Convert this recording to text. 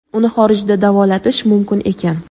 Uni xorijda davolatish mumkin ekan.